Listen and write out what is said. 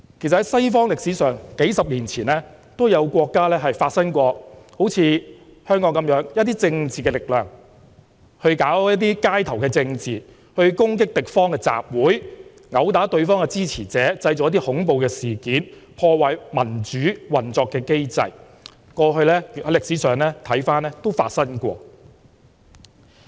主席，在西方歷史上，幾十年前也有國家好像香港一樣，一些政治力量搞街頭政治、攻擊敵方的集會、毆打對方的支持者、製造恐怖、破壞民主運作的機制，過去歷史上亦曾發生過。